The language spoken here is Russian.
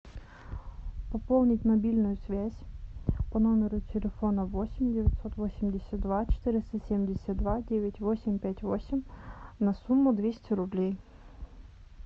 пополнить мобильную связь по номеру телефона восемь девятьсот восемьдесят два четыреста семьдесят два девять восемь пять восемь на сумму двести рублей